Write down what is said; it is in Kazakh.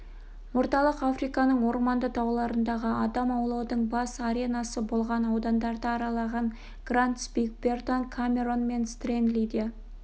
орталық африканың орманды тауларындағы адам аулаудың бас аренасы болған аудандарды аралаған грант спик бертон камерон мен стенли де